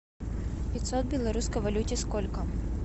пятьсот в белорусской валюте сколько